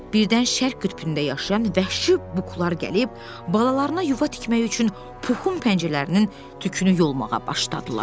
Birdən Şərq qütbündə yaşayan vəhşi buqlar gəlib, balalarına yuva tikmək üçün Puxun pəncərələrinin tükünü yolmağa başladılar.